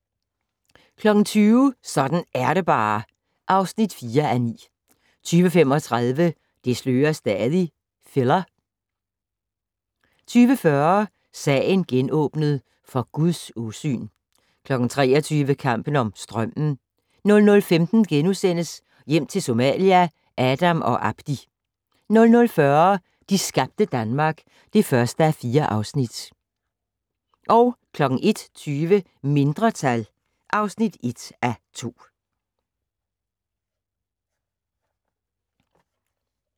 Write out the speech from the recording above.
20:00: Sådan er det bare (4:9) 20:35: Det slører stadig - filler 20:40: Sagen genåbnet: For Guds åsyn 23:00: Kampen om strømmen 00:15: Hjem til Somalia - Adam og Abdi * 00:40: De skabte Danmark (1:4) 01:20: Mindretal (1:2)